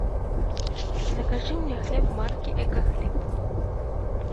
закажи мне хлеб марки экохлеб